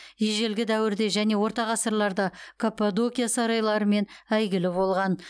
ежелгі дәуірде және орта ғасырларда каппадокия сарайларымен әйгілі болған